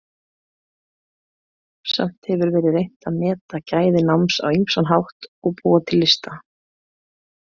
Samt hefur verið reynt að meta gæði náms á ýmsan hátt og búa til lista.